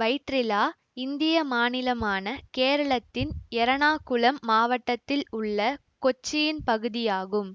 வைற்றிலா இந்திய மாநிலமான கேரளத்தின் எறணாகுளம் மாவட்டத்தில் உள்ள கொச்சியின் பகுதியாகும்